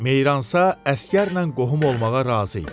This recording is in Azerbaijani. Meyransa əsgərlə qohum olmağa razı idi.